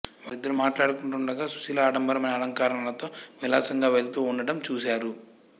వాళ్ళిద్దరూ మాట్లాడుకుంటూ ఉండగ సుశీల అడంబరమైన అలంకరణలతో విలాసంగా వెళ్తూ వుండడం చూశారు